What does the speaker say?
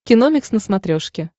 киномикс на смотрешке